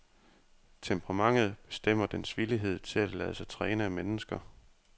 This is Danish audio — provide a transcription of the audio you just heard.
Temperamentet bestemmer dens villighed til at lade sig træne af mennesker.